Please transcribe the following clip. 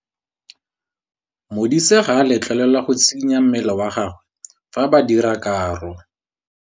Modise ga a letlelelwa go tshikinya mmele wa gagwe fa ba dira karô.